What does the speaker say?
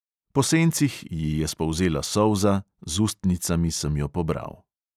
Po sencih ji je spolzela solza, z ustnicami sem jo pobral.